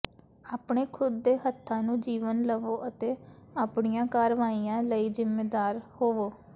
ਆਪਣੇ ਖੁਦ ਦੇ ਹੱਥਾਂ ਨੂੰ ਜੀਵਨ ਲਵੋ ਅਤੇ ਆਪਣੀਆਂ ਕਾਰਵਾਈਆਂ ਲਈ ਜ਼ਿੰਮੇਵਾਰ ਹੋਵੋ